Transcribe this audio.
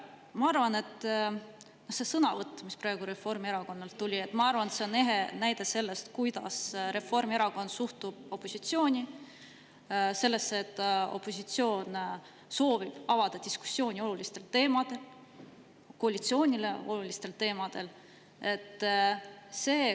Ma arvan, et see sõnavõtt, mis praegu Reformierakonnalt tuli, on ehe näide sellest, kuidas Reformierakond suhtub opositsiooni, sellesse, kui opositsioon soovib avada diskussiooni olulistel teemadel, koalitsioonile olulistel teemadel.